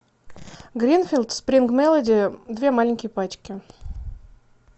гринфилд спринг мелоди две маленькие пачки